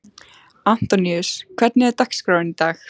Antoníus, hvernig er dagskráin í dag?